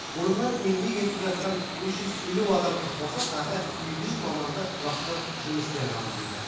бұрыннан еңбек етіп жатқан үш жүз елу адамға қоса тағы екі жүз маманды тұрақты жұмыспен қамтиды